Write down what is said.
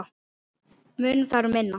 Munar þar um minna.